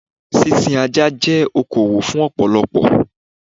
Sísin Ajá jẹ́ okowò fún ọ̀pọ̀lọpọ̀.